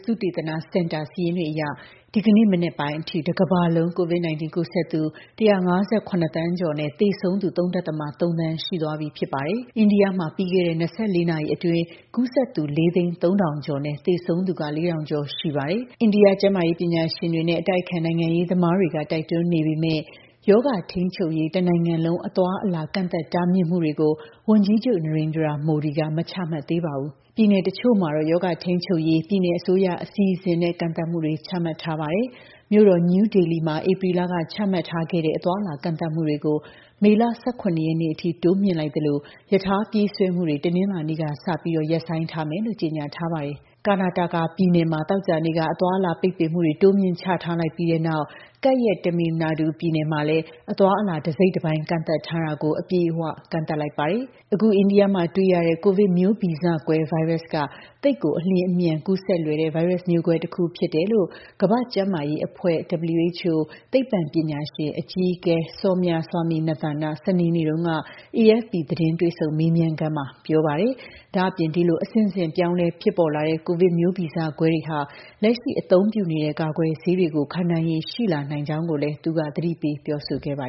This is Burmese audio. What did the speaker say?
သုတေသနစင်တာ စာရင်းတွေအရ ဒီကနေ့ မနက်ပိုင်းအထိ တကမ္ဘာလုံး COVID-19 ကူးစက်သူ ၁၅၇ သန်းကျော်နဲ့ သေဆုံးသူ ၃.၃ သန်း ရှိသွားပြီဖြစ်ပါတယ်။ အိန္ဒိယမှာ ပြီးခဲ့တဲ့ ၂၄ နာရီအတွင်း ကူးစက်သူ ၄၀၃,၀၀၀ ကျော်နဲ့ သေဆုံးသူ ၄,၀၀၀ ကျော်ရှိပါတယ်။ အိန္ဒိယကျန်းမာရေး ပညာရှင်တွေနဲ့ အတိုက်အခံ နိုင်ငံရေးသမားတွေ တိုက်တွန်းနေပေမယ့် ရောဂါထိန်းချုပ်ရေး တနိုင်ငံလုံး အသွားအလာ ကန့်သတ်မှုတွေကိုတော့ ဝန်ကြီးချုပ် Narendra Modi က မချမှတ်သေးပါဘူး။ ပြည်နယ်တချို့မှာတော့ ရောဂါထိန်းချုပ်ရေး ပြည်နယ်အစိုးရ အစီအစဉ်နဲ့ ကန့်သတ်မှုတွေ ချမှတ်ထားပါတယ်။ မြို့တော် နယူးဒေလီမှာ ဧပြီလက ချမှတ်ထားခဲ့တဲ့ အသွားအလာ ကန့်သတ်မှုတွေကို မေလ ၁၇ ရက်နေ့အထိ တိုးမြှင့်လိုက်သလို ရထားပြေးဆွဲမှုတွေကို တနင်္လာနေ့ကစပြီး ရပ်ဆိုင်းထားမယ်လို့ ကြေညာထားပါတယ်။ Karnataka ပြည်နယ်မှာ သောကြာနေ့က အသွားအလာ ပိတ်ပင်မှုတွေ တိုးမြှင့် ချထားလိုက်ပြီးတဲ့နောက် ကပ်ရက် Tamil Nadu ပြည်နယ်မှာလည်း အသွားအလာ တစိတ်တပိုင်း ကန့်သတ်ထားတာကို အပြည့်အဝ တိုးမြှင့်သတ်မှတ်လိုက်ပါတယ်။ အခု အိန္ဒိယမှာတွေ့ရတဲ့ ကိုဗစ်မျိုးဗီဇကွဲ ဗိုင်းရပ်စ်က သိပ်ကို အလျင်အမြန် ကူးစက်လွယ်တဲ့ ဗိုင်းရပ်မျိုးကွဲတခု ဖြစ်တယ်လို့ ကမ္ဘာ့ကျန်းမာရေးအဖွဲ့ (WHO) သိပ္ပံပညာရှင် အကြီးအကဲ Soumya Swaminathan က စနေနေ့တုန်းက AFP သတင်း တွေ့ဆုံမေးမြန်းခန်းမှာ ပြောပါတယ်။ ဒါ့အပြင် ဒီလို အဆင့်ဆင့်ပြောင်းလဲဖြစ်ပေါ်လာတဲ့ ကိုဗစ်မျိုးဗီဇကွဲတွေဟာ လက်ရှိအသုံးပြုနေတဲ့ ကာကွယ်ဆေးတွေကို ခံနိုင်ရည်ရှိလာနိုင်ကြောင်းလည်း သူက သတိပေး ပြောဆိုခဲ့ပါ